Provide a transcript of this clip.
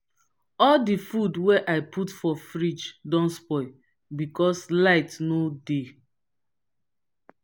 all di food wey i put for fridge don spoil because light no dey.